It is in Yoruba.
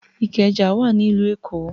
Ìkẹjà wà ní ìlú Èkó.